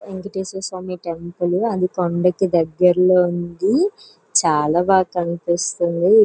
Venkatesh Swami temple అది కొండకి దేగ్గర్లో ఉంది. చాల బాగా కనిపిస్తూ ఉంది.